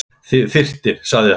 Þyrftir sagði hann.